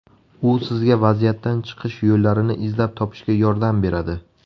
U sizga vaziyatdan chiqish yo‘llarini izlab topishga yordam beradi.